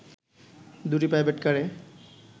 দুটি প্রাইভেটকারে